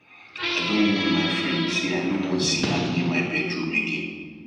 i don warn my friend say i no wan see am near my bedroom again